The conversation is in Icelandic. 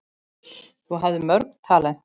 Þú hafðir mörg talent.